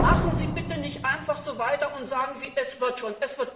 Aber machen Sie bitte nicht einfach so weiter und sagen Sie nicht, es wird schon.